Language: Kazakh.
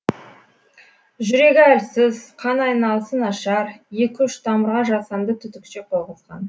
жүрегі әлсіз қан айналысы нашар екі үш тамырға жасанды түтікше қойғызған